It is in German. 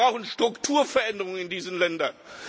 Wir brauchen Strukturveränderung in diesen Ländern.